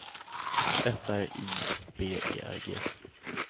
F R I B E R G